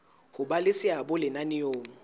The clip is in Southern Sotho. ho ba le seabo lenaneong